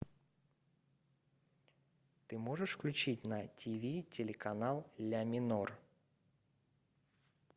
ты можешь включить на тиви телеканал ля минор